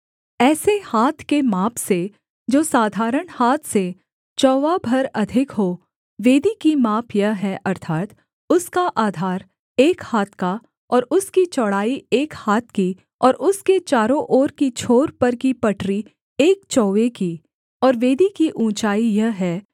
ऐसे हाथ के माप से जो साधारण हाथ से चौवा भर अधिक हो वेदी की माप यह है अर्थात् उसका आधार एक हाथ का और उसकी चौड़ाई एक हाथ की और उसके चारों ओर की छोर पर की पटरी एक चौवे की और वेदी की ऊँचाई यह है